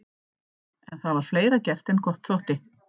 En það var fleira gert en gott þótti.